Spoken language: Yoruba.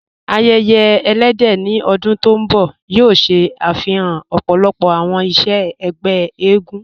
Àyẹ̀yẹ̀ ẹ̀lẹ́dẹ̀ ní ọ̀dún tó nbọ̀ yóò ṣẹ afihàn ọ̀pọ̀lọ̀pọ̀ awọn iṣẹ̀ ẹgbẹ̀ ègún.